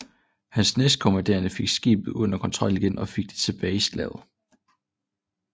Hans næstkommanderende fik skibet under kontrol igen og fik det tilbage i slaget